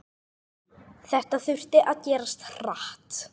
Þetta þurfti að gerast hratt.